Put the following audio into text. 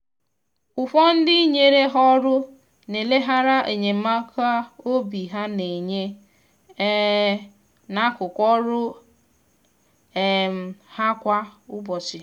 ụfọdụ ndị nyere ha ọrụ na eleghara enyemaka obi ha na-enye um n’akụkụ ọrụ um ha kwa ụbọchị.